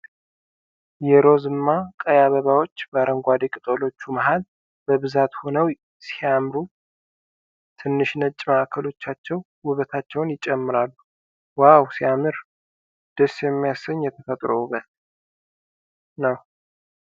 የሮዝማ ቀይ አበባዎች በአረንጓዴ ቅጠሎቹ መሃል በብዛት ሁነው ሲያምሩ!!። ትንንሽ ነጭ ማዕከሎቻቸው ውበታቸውን ይጨምራሉ ። ዋው ሲያምር ! ደስ የሚያሰኝ የተፈጥሮ ውበት ነው።